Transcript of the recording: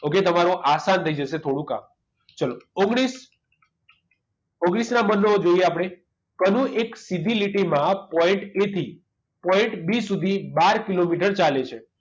Okay તમારું આસાન થઈ જશે થોડું કામ ચલો ઓગણીસ ઓગણીસ ના બંડલો જોઈએ આપણે કનું એક સીધી લીટીમાં point a થી point b સુધી બાર કિલોમીટર ચાલે છે